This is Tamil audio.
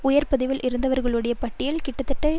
உயர் பதவியில் இருந்தவர்களுடைய பட்டியல் கிட்டத்தட்ட